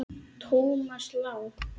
Thomas Lang